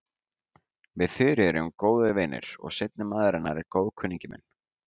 Við Þuríður erum góðir vinir og seinni maður hennar er góðkunningi minn.